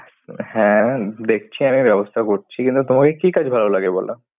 হ্যাঁ, দেখছি আমি ব্যবস্থা করছি। কিন্তু, তোমাকে কি কাজ ভালো লাগে? বলো।